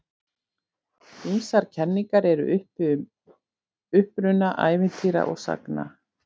Ýmsar kenningar eru uppi um uppruna ævintýra og sagna.